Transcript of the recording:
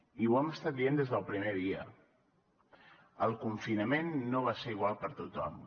i ho hem estat dient des del primer dia el confinament no va ser igual per a tothom